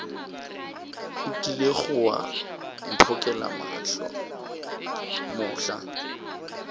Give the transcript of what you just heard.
o kilego wa mphokela mohla